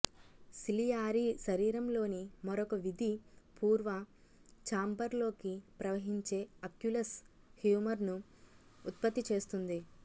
ciliary శరీరంలోని మరొక విధి పూర్వ ఛాంబర్లోకి ప్రవహించే అక్యులస్ హ్యూమర్ను ఉత్పత్తి చేస్తుంది